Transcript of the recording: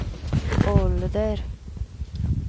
ålder